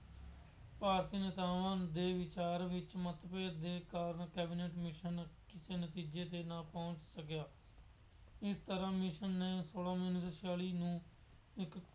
ਭਾਰਤ ਨੇਤਾਵਾਂ ਦੇ ਵਿਚਾਰ ਵਿੱਚ ਮੱਤਭੇਦ ਦੇ ਕਾਰਨ ਕੈਬਨਿਟ ਕਮਿਸ਼ਨ ਕਿਸੇ ਨਤੀਜੇ ਤੇ ਨਾ ਪਹੁੰਚ ਸਕਿਆ। ਇਸ ਤਰ੍ਹਾਂ ਕਮਿਸ਼ਨ ਨੇ ਸੋਲਾਂ ਨਵੰਬਰ ਉੱਨੀ ਸੌ ਛਿਆਲੀ ਨੂੰ ਇੱਕ